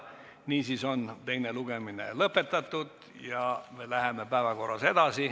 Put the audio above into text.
Niisiis on teine lugemine lõpetatud ja me läheme päevakorraga edasi.